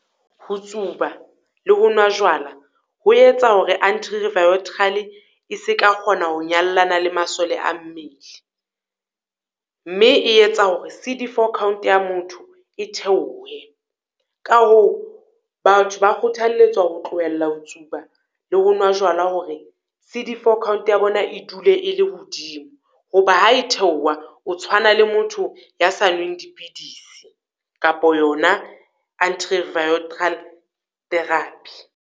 Ho tsuba le ho nwa jwala ho etsa hore antri-viotrale e se ka kgona ho nyallana le masole a mmele. Mme e etsa hore C_D four count ya motho e theohe. Ka hoo batho ba kgothalletswa ho tlohella ho tsuba le ho nwa jwala hore C_D four count ya bona e dule e le hodimo. Ho ba ha e theoha, o tshwana le motho ya sa nweng dipidisi, kapo yona antri-viotral therapy.